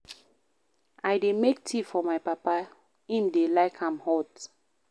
I dey make tea for my papa, im dey like am hot.